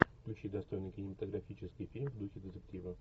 включи достойный кинематографический фильм в духе детектива